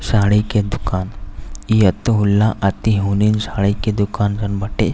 साड़ी के दुकान। ई अतिउल्लाह अतिहुनिन साड़ी के दुकान जउन बाटे।